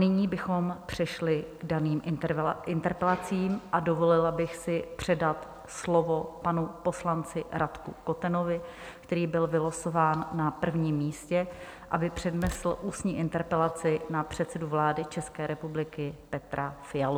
Nyní bychom přešli k daným interpelacím a dovolila bych si předat slovo panu poslanci Radku Kotenovi, který byl vylosován na prvním místě, aby přednesl ústní interpelaci na předsedu vlády České republiky Petra Fialu.